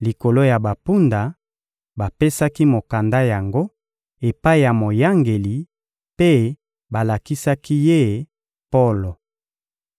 likolo ya bampunda bapesaki mokanda yango epai ya moyangeli mpe balakisaki ye Polo.